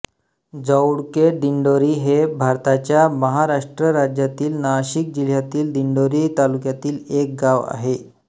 जौळकेदिंडोरी हे भारताच्या महाराष्ट्र राज्यातील नाशिक जिल्ह्यातील दिंडोरी तालुक्यातील एक गाव आहे